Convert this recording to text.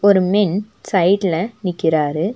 ஒரு மென் சைட்ல நிக்கிறாரு.